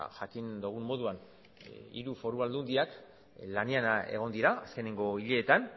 jakin dogun moduan hiru foru aldundiak lanean egon dira azkenengo hileetan